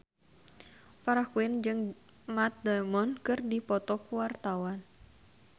Farah Quinn jeung Matt Damon keur dipoto ku wartawan